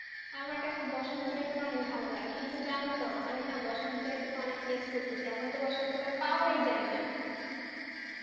আমার কাছে বসন্ত ঋতু টা অনেক ভালো লাগে কিন্তু জানোতো আমি না বসন্তঋতুকে অনেক miss করছি এখনতো বসন্তকাল পাওয়াই যায়না,